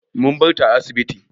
Mun bar ta a asibiti.